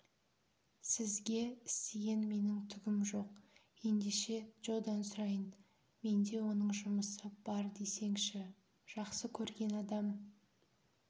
сізге істеген менің түгім жоқ ендеше джодан сұрайын менде оның жұмысы бар десеңші жақсы көрген адам